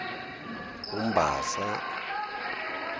umbasa